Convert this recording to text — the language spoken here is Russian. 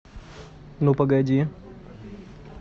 ну погоди